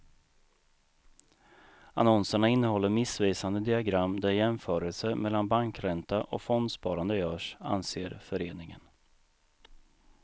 Annonserna innehåller missvisande diagram där jämförelser mellan bankränta och fondsparande görs, anser föreningen.